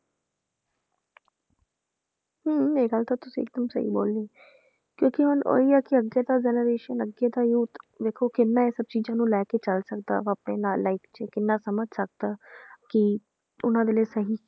ਹਮ ਇਹ ਗੱਲ ਤਾਂ ਤੁਸੀਂ ਬਿਲਕੁਲ ਸਹੀ ਬੋਲੀ ਕਿਉਂਕਿ ਹੁਣ ਉਹੀ ਆ ਕਿ ਅੱਗੇ ਦਾ generation ਅੱਗੇ ਦਾ youth ਦੇਖੋ ਕਿੰਨਾ ਇਹ ਚੀਜ਼ਾਂ ਨੂੰ ਲੈ ਕੇ ਚੱਲ ਸਕਦਾ ਵਾ ਆਪਣੇ ਨਾਲ life 'ਚ ਕਿੰਨਾ ਸਮਝ ਸਕਦਾ ਕੀ ਉਹਨਾਂ ਦੇ ਲਈ ਸਹੀ